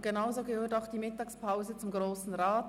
Genauso gehört die Mittagspause zum Grossen Rat.